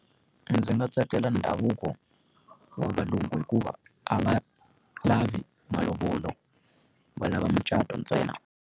Ndzi nga tsakela ndhavuko wa valungu hikuva a va lavi malovolo, va lava mucato ntsena.